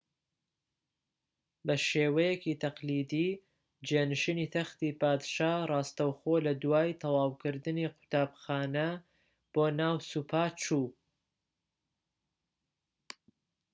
بە شێوەیەکی تەقلیدی جێنشینی تەختی پادشا ڕاستەوخۆ لە دوای تەواوکردنی قوتابخانە بۆ ناو سوپا چوو